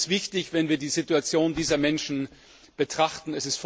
Das ist wichtig, wenn wir die Situation dieser Menschen betrachten.